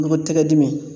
Nɔgɔ tɛgɛ dimi